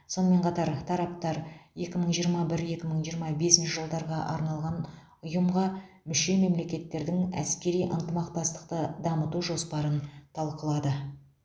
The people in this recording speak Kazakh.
сонымен қатар тараптар екі мың жиырма бір екі мың жиырма бесінші жылдарға арналған ұйымға мүше мемлекеттердің әскери ынтымақтастықты дамыту жоспарын талқылады